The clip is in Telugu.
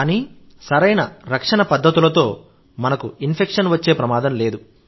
కానీ సరైన రక్షణ పద్ధతులను మనకు ఇన్ఫెక్షన్ వచ్చే ప్రమాదం లేదు